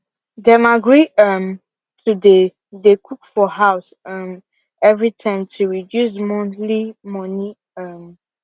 dem agree um to dey dey cook for house um every time to reduce monthly money um